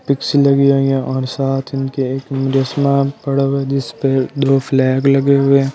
दो फ्लैग लगे हुए है।